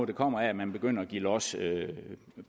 der kommer af at man begynder at give los